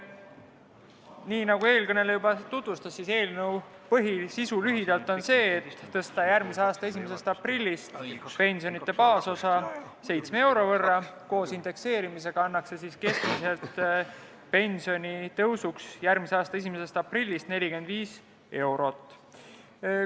Nii nagu eelkõneleja tutvustas, on eelnõu põhisisu lühidalt öeldes see, et tõsta järgmise aasta 1. aprillist pensioni baasosa 7 euro võrra, koos indekseerimisega annaks see järgmise aasta 1. aprillist keskmiselt pensionitõusuks 45 eurot.